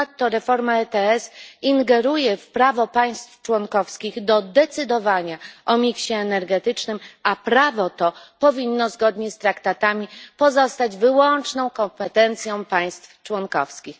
Ponadto reforma ETS ingeruje w prawo państw członkowskich do decydowania o miksie energetycznym, a prawo to powinno zgodnie z traktatami pozostać wyłączną kompetencją państw członkowskich.